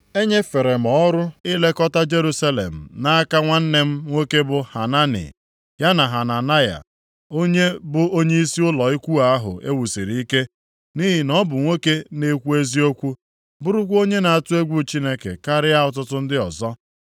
Enyefere m ọrụ ilekọta Jerusalem nʼaka nwanne m nwoke bụ Hanani, ya na Hananaya onye bụ onyeisi ụlọ ukwu ahụ e wusiri ike, nʼihi na ọ bụ nwoke na-ekwu eziokwu, bụrụkwa onye na-atụ egwu Chineke karịa ọtụtụ ndị ọzọ.